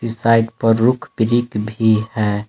इस साइड पर rock brick भी हैं।